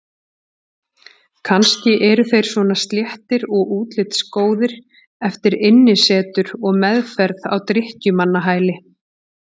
Kannski eru þeir svona sléttir og útlitsgóðir eftir innisetur og meðferð á drykkjumannahæli.